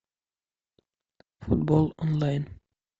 футбол онлайн